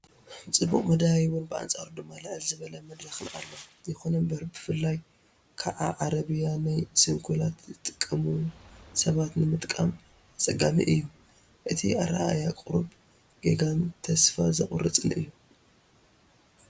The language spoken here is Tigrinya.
ፅቡቕ መደያይቦን ብኣንጻሩ ድማ ልዕል ዝበለ መድረኽን ኣሎ። ይኹን እምበር፡ ብፍላይ ከኣ ዓረብያ ናይ ስንኩላን ንዝጥቀሙ ሰባት ንምጥቃም ኣጸጋሚ እዩ። እቲ ኣረኣእያ ቁሩብ ጌጋን ተስፋ ዘቑርፅን እዩ፡፡